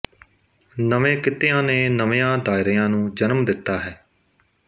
ਨਵੇਂ ਕਿੱਤਿਆਂ ਨੇ ਨਵਿਆਂ ਦਾਇਰਿਆਂ ਨੂੰ ਜਨਮ ਦਿੱਤਾ ਹੈ